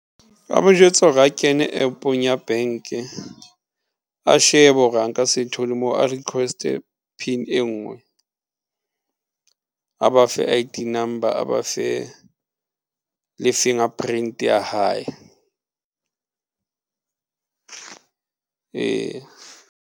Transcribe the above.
Nka mo jwetsa hore a kene App-ong ya bank-e a shebe hore a nka se thole mo, a request-e PIN e nngwe a ba fe I_D number, a ba fe le fingerprint ya hae ee.